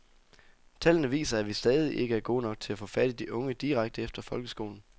Tallene viser, at vi stadig ikke er gode nok til at få fat i de unge direkte efter folkeskolen.